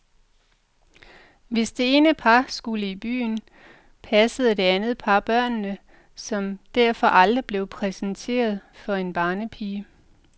Hvis det ene par skulle i byen, passede det andet par børnene, som derfor aldrig blev præsenteret for en barnepige.